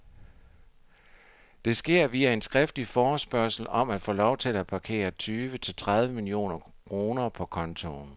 Det sker via en skriftlig forespørgsel om at få lov til at parkere tyve til tredive millioner kroner på kontoen.